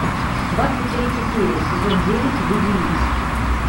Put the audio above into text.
двадцать третья серия сезон девять люди икс